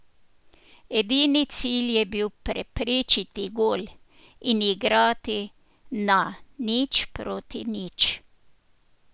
Edini cilj je bil preprečiti gol in igrati na nič proti nič.